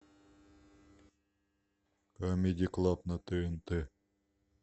камеди клаб на тнт